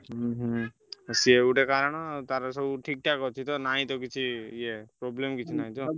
ଉହୁଁ ସିଏ ଗୋଟେ କାରଣ ତାର ସବୁ ଠିକ୍ ଠାକ ଅଛି ତ ନାହିଁ ତ କିଛି ୟେ problem କିଛି ନାହିଁ ତ?